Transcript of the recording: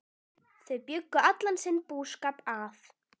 Þau bjuggu allan sinn búskap að